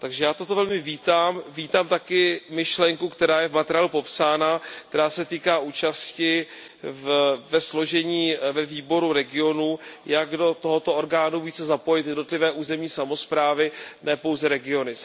Takže já toto velmi vítám, vítám také myšlenku, která je v materiálu popsána, která se týká účasti ve složení ve Výboru regionů, jak do tohoto orgánu více zapojit jednotlivé územní samosprávy, ne pouze regiony.